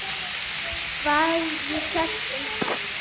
Hvað ég hélt um hann?